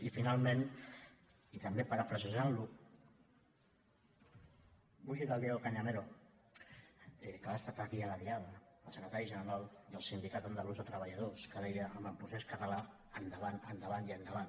i finalment i també parafrasejant lo vull citar el diego cañamero que ha estat aquí a la diada el secretari general del sindicat andalús de treballadors que deia amb el procés català endavant endavant i endavant